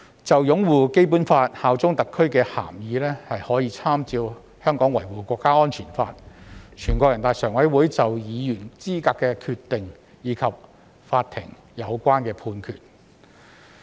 就擁護《基本法》、效忠特區的涵義，可參照《香港國安法》、全國人大常委會就議員資格的決定，以及法庭的相關判決。